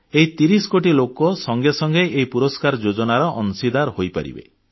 ଏହି 30 କୋଟି ଲୋକ ସଙ୍ଗେ ସଙ୍ଗେ ଏହି ପୁରସ୍କାର ଯୋଜନାର ଅଂଶୀଦାର ହୋଇପାରିବେ